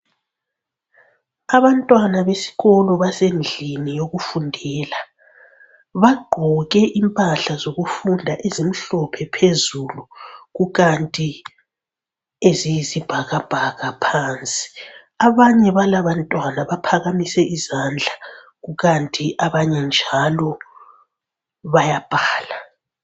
Abantwana besikolo basendlini yokufundela bagqoke impahla zokufunda ezimhlophe phezulu kukanti eziyisi bhakabhaka phansi, abanye balaba bantwana baphakamise izandla kukanti abanye njalo bayabhala.